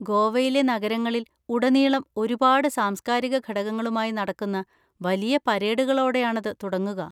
ഗോവയിലെ നഗരങ്ങളിൽ ഉടനീളം ഒരുപാട് സാംസ്കാരിക ഘടകങ്ങളുമായി നടക്കുന്ന വലിയ പരേഡുകളോടെയാണത് തുടങ്ങുക.